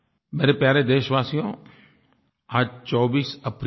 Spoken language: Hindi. मेरे प्यारे देशवासियो आज 24 अप्रैल है